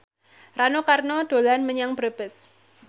Rano Karno dolan menyang Brebes